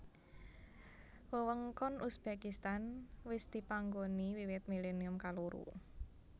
Wewengkon Uzbekistan wis dipanggoni wiwit milennium kaloro